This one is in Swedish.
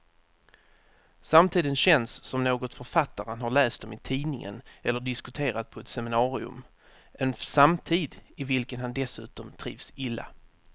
Samtiden känns som något författaren har läst om i tidningen eller diskuterat på ett seminarium, en samtid i vilken han dessutom trivs illa.